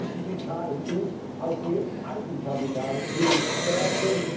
Wir müssen die KMU auch die Eigenkapitalmittel stärken